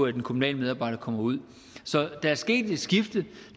en kommunal medarbejder kommer ud så der er sket et skifte